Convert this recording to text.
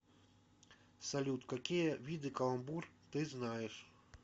салют какие виды каламбур ты знаешь